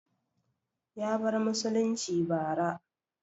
Ya bar musulunci bara